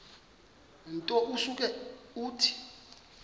nto usuke uthi